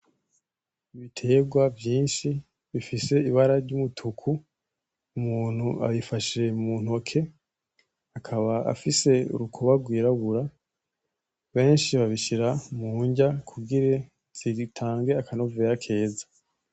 Ibiterwa vyinshi bifise ibara ry'umutuku, umuntu abifashe muntoke akaba afise urukuba rwirabura. Benshi babishira mu nrya kugira zitange akanovera keza.